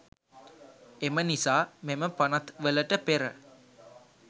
එම නිසා මෙම පනත්වලට පෙර